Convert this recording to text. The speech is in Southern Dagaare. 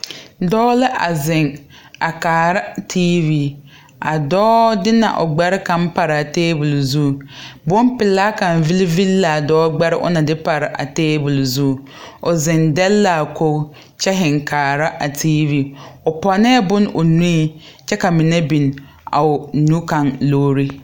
Dɔɔ la a zeŋ a kaara teevi a dɔɔ de na o gbɛre kaŋ paraa tabole zu bonpelaa kaŋ vilivili laa dɔɔ gbɛre o na de pare a tabole zu o zeŋ deɛle laa koge kyɛ zeŋ kaara a teevi o pɔnee bon o nuŋ kyɛ ka mine biŋ a o nu kaŋ logri.